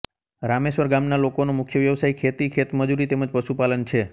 રામેશ્વર ગામના લોકોનો મુખ્ય વ્યવસાય ખેતી ખેતમજૂરી તેમ જ પશુપાલન છે